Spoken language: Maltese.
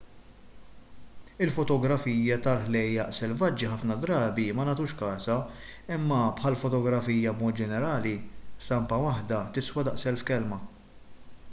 il-fotografija tal-ħlejjaq selvaġġi ħafna drabi ma nagħtux kasha imma bħall-fotografija b'mod ġenerali stampa waħda tiswa daqs elf kelma